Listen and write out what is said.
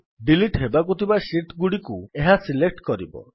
delete ହେବାକୁ ଥିବା sheet ଗୁଡିକୁ ଏହା ସିଲେକ୍ଟ୍ କରିବ